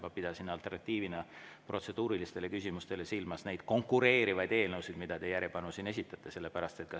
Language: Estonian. Ma pidasin alternatiivina protseduurilistele küsimustele silmas neid konkureerivaid eelnõusid, mida te järjepanu siin esitate.